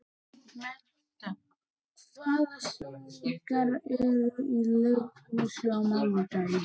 Meda, hvaða sýningar eru í leikhúsinu á mánudaginn?